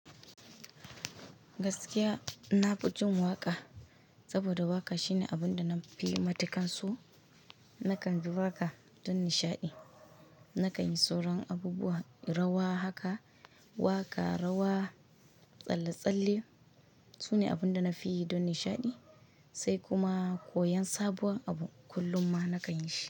Gaskiya, na fi jin waƙa saboda waƙa shine abun da na fi matuƙar so. Nakan ji waƙa don nishaɗi, nakan yi sauran abubuwa rawa haka. Waƙa, rawa, tsalle-tsalle su ne abun da na fi yi don nishaɗi sai kuma koyon sabuwar abu kullum ma nakan yi shi.